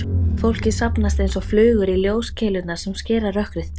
Fólkið safnast einsog flugur í ljóskeilurnar sem skera rökkrið.